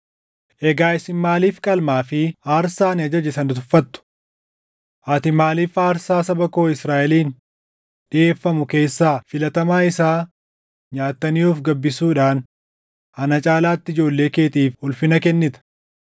Egaa isin maaliif qalmaa fi aarsaa ani ajaje sana tuffatu? Ati maaliif aarsaa saba koo Israaʼeliin dhiʼeeffamu keessaa filatamaa isaa nyaatanii of gabbisuudhaan ana caalaatti ijoollee keetiif ulfina kennita?’